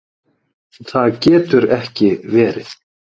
Það getur ekki verið